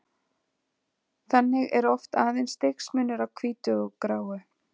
Þannig er oft aðeins stigsmunur á hvítu og gráu.